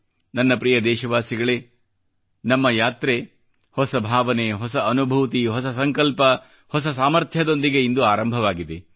ನನ್ನ ಪ್ರೀತಿಯ ದೇಶವಾಸಿಗಳೇ ನಮ್ಮ ಯಾತ್ರೆ ಹೊಸ ಭಾವನೆ ಹೊಸ ಅನುಭೂತಿ ಹೊಸ ಸಂಕಲ್ಪ ಹೊಸ ಸಾಮರ್ಥ್ಯದೊಂದಿಗೆ ಇಂದು ಆರಂಭವಾಗಿದೆ